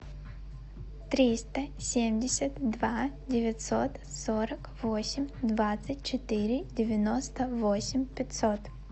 триста семьдесят два девятьсот сорок восемь двадцать четыре девяносто восемь пятьсот